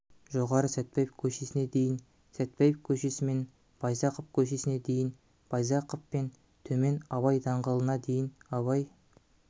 жоғары сатпаев көшесіне дейін сәтпаев көшесімен байзақов көшесіне дейін байзақовпен төмен абай даңғылына дейін абай